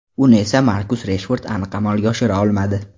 Uni esa Markus Reshford aniq amalga oshira olmadi.